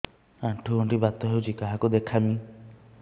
ଆଣ୍ଠୁ ଗଣ୍ଠି ବାତ ହେଇଚି କାହାକୁ ଦେଖାମି